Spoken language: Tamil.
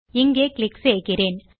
இங்கே கிளிக் செய்கிறேன்